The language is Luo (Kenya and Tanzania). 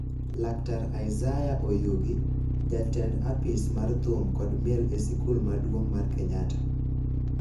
Laktar Isaiah Oyugi, jatend apis mar thum kod miel e sikul maduong' mar Kenyatta